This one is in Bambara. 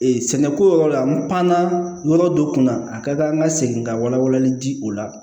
Ee sɛnɛko yɔrɔ la n pan na yɔrɔ dɔ kun na a ka kan an ka segin ka walawalali di o la